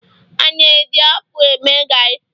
a na-eji akpu eme gari